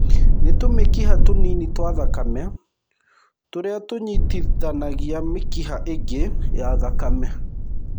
Nĩ tũmĩkiha tũnini twa thakame tũrĩa tũnyitithanagia mĩkiha ĩngĩ ya thakame.